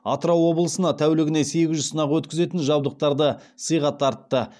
атырау облысына тәулігіне сегіз жүз сынақ өткізетін жабдықтарды сыйға тартты